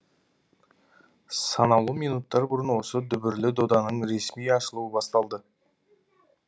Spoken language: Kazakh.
санаулы минуттар бұрын осы дүбірлі доданың ресми ашылуы басталды